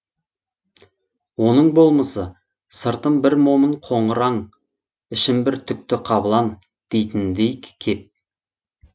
оның болмысы сыртым бір момын қоңыр аң ішім бір түкті қабылан дейтініндей кеп